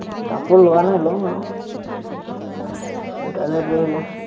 কাপোৰ লোৱা নাই, ল'ম আৰু, কাইলে পৰহিলে